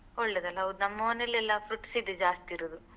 ಒಳ್ಳೆದಲ್ಲ ಹೌದು ನಮ್ಮ ಮನೇಲಿ ಎಲ್ಲ fruits ಇದ್ದು ಜಾಸ್ತಿ ಇರುದು.